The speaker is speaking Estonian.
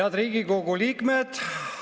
Head Riigikogu liikmed!